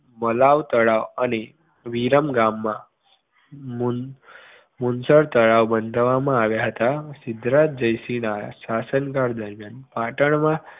મલાવ તળાવ અને વિરમગામમા મુનશળ તળાવ બાંધવામાં આવ્યા હતા સિદ્ધરાજ જયસિંહના શાસનકાળ દરમ્યાન પાટણમાં